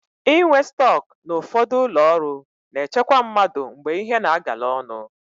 Inwe stọk na ụfọdụ ụlọọrụ na-echekwa mmadụ mgbe ihe na-agala ọnụ.